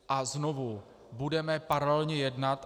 A znovu budeme paralelně jednat.